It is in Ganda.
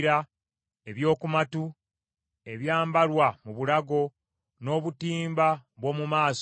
ebyokumatu, ebyambalwa mu bulago, n’obutimba bw’omu maaso,